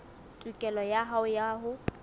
tokelo ya hao ya ho